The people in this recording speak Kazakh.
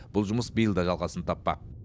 бұл жұмыс биыл да жалғасын таппақ